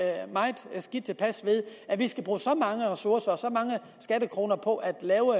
de tilpas ved at de skal bruge så mange ressourcer og så mange skattekroner på at lave